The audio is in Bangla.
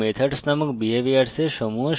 variables নামক প্রোপারটিসের সমূহ